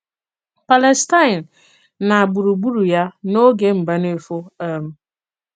Pàlèstàin na gbùrùgbùrụ̀ ya n’òge Mbànéfò. um